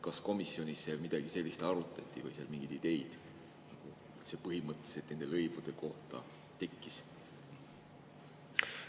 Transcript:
Kas komisjonis midagi sellist arutati või tekkis seal põhimõtteliselt nende lõivude kohta mingeid ideid?